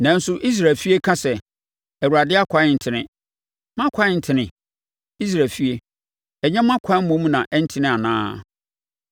Nanso, Israel efie ka sɛ, ‘ Awurade ɛkwan ntene.’ Mʼakwan ntene? Israel efie, ɛnyɛ mo akwan mmom na ɛntene anaa?